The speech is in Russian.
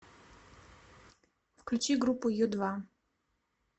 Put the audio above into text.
включи группу ю два